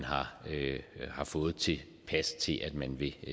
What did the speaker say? har fået tilpas meget til at man vil